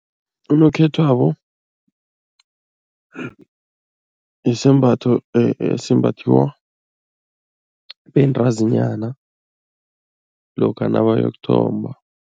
Unokhethwako yisembatho esimbathiwa bentazinyana lokha nabayokuthomba.